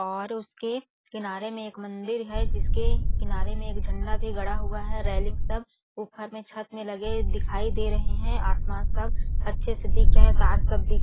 और उसके किनारे में एक मंदिर है जिसके किनारे में एक झंडा भी गड़ा हुआ है रेलिंग सब ऊपर में छत में लगे दिखाई दे रहे है आसमान सब अच्छे से दिख रहे है तार सब दिख--